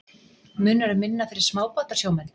Munar um minna fyrir smábátasjómenn?